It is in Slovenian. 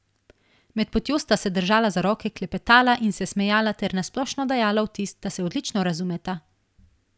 Med potjo sta se držala za roke, klepetala in se smejala ter na splošno dajala vtis, da se odlično razumeta.